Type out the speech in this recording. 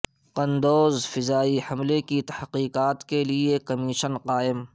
قندوز فضائی حملے کی تحقیقات کے لیے کمیشن قائم